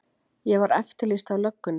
Ég var eftirlýst af löggunni.